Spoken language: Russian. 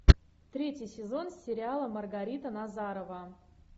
третий сезон сериала маргарита назарова